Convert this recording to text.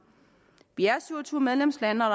vi er syv og tyve medlemslande og